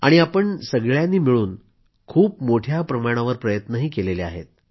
आणि आपण सर्वांनी मिळून खूप मोठ्या प्रमाणावर प्रयत्नही केले आहेत